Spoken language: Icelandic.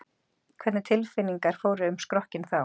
Hvernig tilfinningar fóru um skrokkinn þá?